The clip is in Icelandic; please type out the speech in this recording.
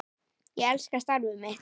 Ég elska starfið mitt.